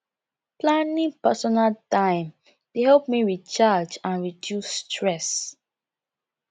planning personal time dey help me recharge and reduce stress